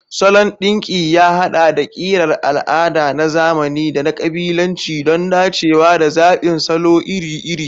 Salon ɗinki ya haɗa da ƙirar al'ada, na zamani, da na ƙabilanci don dacewa da zaɓin salo iri-iri.